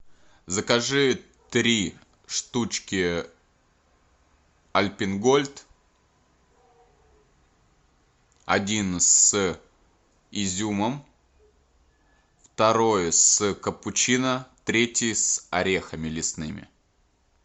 закажи три штучки альпен гольд один с изюмом второй с капучино третий с орехами лесными